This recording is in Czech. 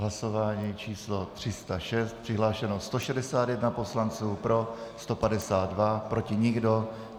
Hlasování číslo 306, přihlášeno 161 poslanců, pro 152, proti nikdo.